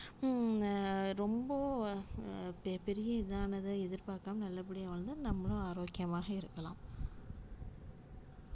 னா ரொம்ப பே பெரிய இதானதா எதிர்பாக்காம நல்லபடியா வாழ்ந்தா நம்மளும் ஆரோக்கியமாக இருக்கலாம்.